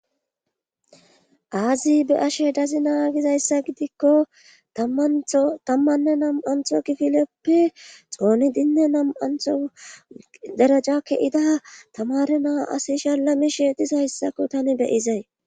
Azii be7ashe dazina gizayssa gidiko tamanta tammanne na7anto gididape xoonidinne na7anto daraja ke7ida tamaare na7aa asi shalamishe dizayssako tani be7izay.